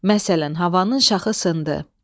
Məsələn, havanın şaxı sındı.